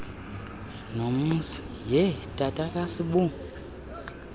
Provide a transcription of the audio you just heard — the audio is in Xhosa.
nomzi hee tatakasibu